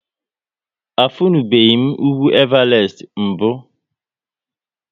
A funubeghi m ugwu Evarest mbụ?